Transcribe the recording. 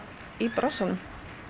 í bransanum